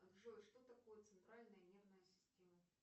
джой что такое центральная нервная система